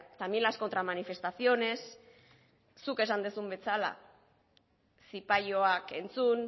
también las contramanifestaciones zuk esan duzun bezala zipaioak entzun